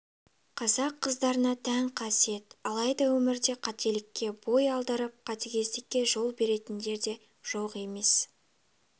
қазақ қыздарына тән қасиет алайда өмірде қателікке бой алдырып қатігездікке жол беретіндер де жоқ емес